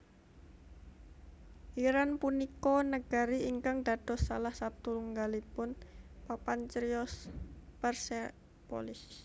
Iran punika negari ingkang dados salah satungalipun papan criyos Persepolis